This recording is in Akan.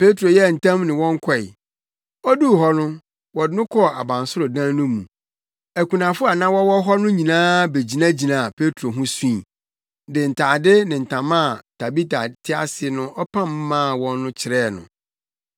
Petro yɛɛ ntɛm ne wɔn kɔe. Oduu hɔ no wɔde no kɔɔ abansoro dan no mu. Akunafo a na wɔwɔ hɔ no nyinaa begyinagyinaa Petro ho sui, de ntade ne ntama a Tabita te ase no ɔpam maa wɔn no kyerɛɛ no.